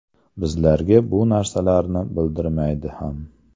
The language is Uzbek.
Bizlarga bu narsalarni bildirmaydi ham.